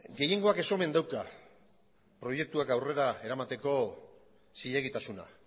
gehiengoak ez omen dauka proiektuak aurrera eramateko zilegitasuna